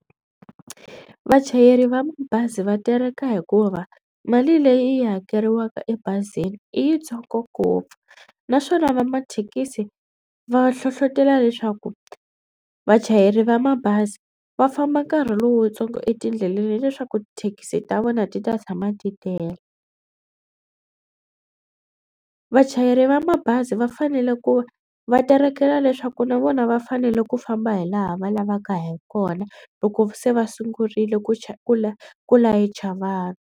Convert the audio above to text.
Vachayeri va bazi va tereka hikuva mali leyi hakeriwaka ebazini i yitsongo ngopfu naswona va mathekisi va hlohlotelo leswaku vachayeri va mabazi va famba nkarhi lowutsongo etindleleni leswaku thekisi ta vona ti ta tshama ti tele. Vachayeri va mabazi va fanele ku va terekela leswaku na vona va fanele ku famba hi laha va lavaka hi kona loko se va sungurile ku ku ku layicha vanhu.